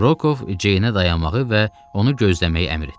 Rokov Ceynə dayanmağı və onu gözləməyi əmr etdi.